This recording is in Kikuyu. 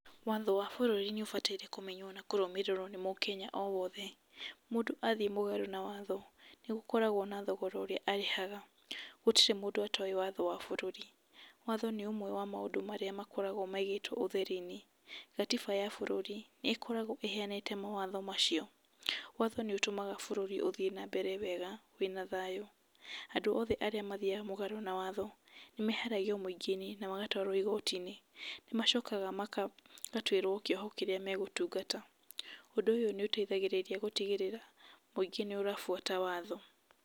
Watho wa bũrũri nĩũbataire nĩ kũmenywo na kũrũmĩrĩrwo nĩ mũkenya o wothe . Mũndũ athĩe mũgarũ na watho nĩ gũkoragwo na thogora ũrĩa arĩhaga, gũtirĩ mũndũ atoĩ watho wa bũrũri , watho nĩ ũmwe wa maũndũ marĩa makoragwo maigĩtwo ũtheri-inĩ . Gatiba ya bũrũri nĩ ĩkoragwo ĩheanĩte mawatho macio, watho nĩũtũmaga bũrũri ũthĩe na mbere wega wĩna thayũ. Andũ othe arĩa mathiaga mũgarũ na watho nĩmeheragĩo mũingĩ-inĩ na magatwarwo igoti-inĩ nĩmacokaga magatũĩrwo kĩoho kĩrĩa megũtungata, ũndũ ũyũ nĩ ũteithagĩrĩria gũtigĩrĩra mũingĩ nĩ ũtabũata watho.